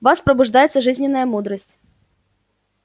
в вас пробуждается жизненная мудрость